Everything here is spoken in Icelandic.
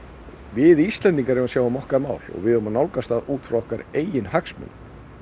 við Íslendingar eigum að sjá um okkar mál og við eigum að nálgast það út frá okkar eigin hagsmunum